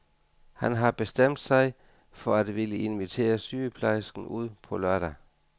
Han har bestemt sig for at ville invitere sygeplejersken ud på lørdag.